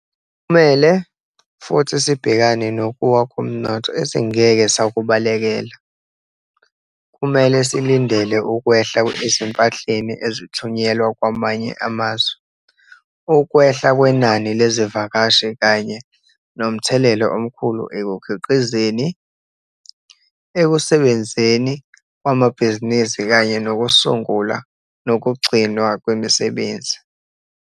Kumele futhi sibhekane nokuwa komnotho esingeke sakubalekela. Kumele silindele ukwehla ezimpahleni ezithunyelwa kwamanye amazwe, ukwehla kwenani lezivakashi kanye nomthelela omkhulu ekukhiqizeni, ekusebenzeni kwamabhizinisi kanye nokusungulwa nokugcinwa kwemisebenzi.